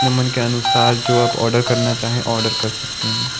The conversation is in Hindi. नमन के अनुसार जो आप आर्डर करना चाहे आर्डर कर सकते है।